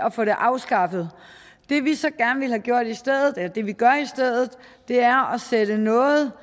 at få det afskaffet det vi så gerne vil have gjort i stedet eller det vi gør i stedet er at sætte noget